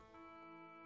Meymunlar.